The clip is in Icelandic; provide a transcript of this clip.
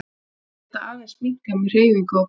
Þær geta aðeins minnkað með hreyfingu og brennslu.